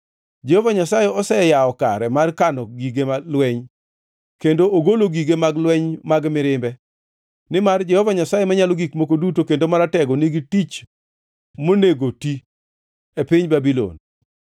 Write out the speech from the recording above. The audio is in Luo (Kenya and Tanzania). Jehova Nyasaye oseyawo kare mar kano gige lweny, kendo ogolo gige mag lweny mag mirimbe, nimar Jehova Nyasaye Manyalo Gik Moko Duto kendo Maratego nigi tich monego ti e piny jo-Babulon.